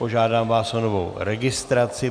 Požádám vás o novou registraci.